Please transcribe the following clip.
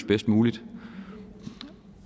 bedst muligt